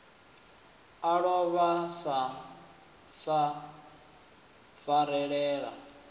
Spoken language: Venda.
a lovha wa sa farelela